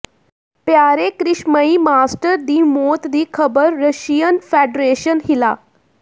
ਪਿਆਰੇ ਕ੍ਰਿਸ਼ਮਈ ਮਾਸਟਰ ਦੀ ਮੌਤ ਦੀ ਖ਼ਬਰ ਰਸ਼ੀਅਨ ਫੈਡਰੇਸ਼ਨ ਹਿਲਾ